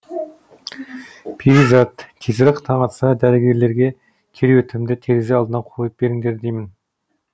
перизат тезірек таң атса дәрігерлерге кереуетімді терезе алдына қойып беріңдер деймін